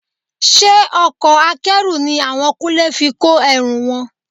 Ṣe ọkọ̀ Akẹ́rù ni àwọn Kúnlé fi kó ẹrù wọn?